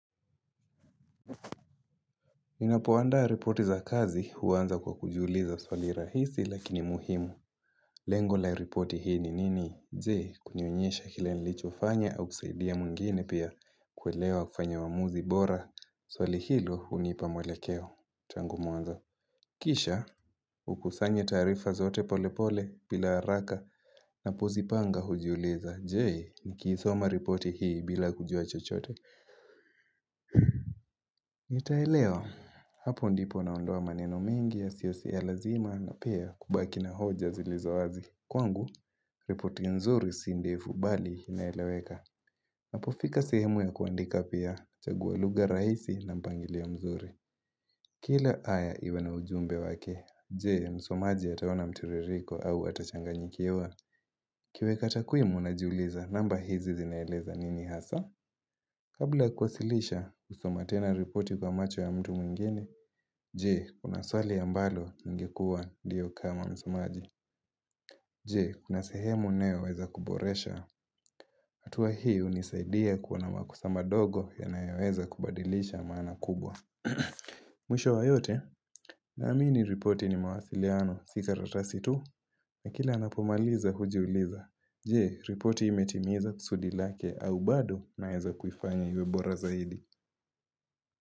Ninapoandaa ripoti za kazi huanza kwa kujiuliza swali rahisi lakini muhimu Lengo la ripoti hii ni nini je, kunionyesha kile nilichofanya au kusaidia mwingine pia kuelewa kufanya uamuzi bora swali hilo hunipa mwelekeo tangu mwanzo Kisha hukusanya taarifa zote pole pole bila haraka napozipanga hujiuliza je? Nikisoma ripoti hii bila kujua chochote nitaelewa hapo ndipo naondoa maneno mingi yasiyo si ya lazima na pia kubaki na hoja zilizo wazi Kwangu, ripoti nzuri si ndefu bali inaeleweka Napofika sehemu ya kuandika pia huchaguwa lugha raisi na mpangilio mzuri Kila aya iwe na ujumbe wake, jee msomaji ataona mtiririko au atachanganyikiwa nikiweka takwimu najiuliza namba hizi zinaeleza nini hasa Kabla ya kuwasilisha husoma tena ripoti kwa macho ya mtu mwingine, jee, kuna swali ambalo lingekua ndio kama msomaji. Jee, kuna sehemu ninayoweza kuboresha, hatua hio hunisaidia kuona makosa madogo inayoweza kubadilisha maana kubwa. Mwisho wa yote, na amini ripoti ni mawasiliano si karatasi tu, na kila napomaliza hujiuliza. Jee, ripoti imetimiza kusudi lake au bado naeza kufanya iwe bora zaidi.